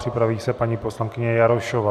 Připraví se paní poslankyně Jarošová.